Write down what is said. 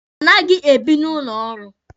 A naghị ebi n'ụlọ ọrụ.